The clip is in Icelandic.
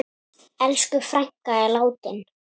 Elsku frænka er látin.